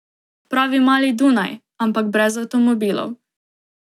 Pravi mali Dunaj, ampak brez avtomobilov.